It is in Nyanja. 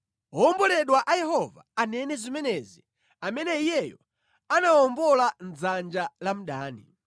Owomboledwa a Yehova anene zimenezi amene Iyeyo anawawombola mʼdzanja la mdani,